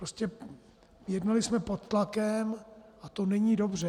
Prostě jednali jsme pod tlakem a to není dobře.